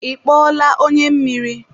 Ị kpọọla onye mmiri?